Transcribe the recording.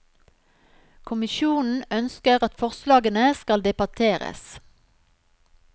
Kommisjonen ønsker at forslagene skal debatteres.